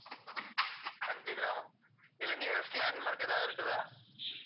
அஞ்சுகிராமம் இதுல nearest landmark ஏதாவது இருக்குதா